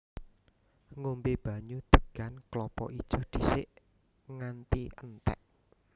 Ngombé banyu degan klapa ijo dhisik nganti entèk